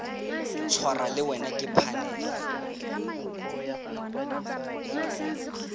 tshwarwa le wena ke phanele